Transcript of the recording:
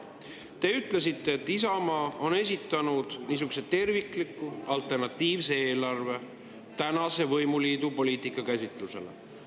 Te ütlesite, et Isamaa on esitanud tervikliku alternatiivse eelarve tänase võimuliidu poliitika käsitlusele.